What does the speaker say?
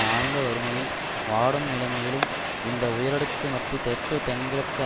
ஆழ்ந்த வறுமையில் வாடும் நிலைமயிலும் இந்த உயரடுக்கு மத்தி தெற்கு தென்கிழக்கு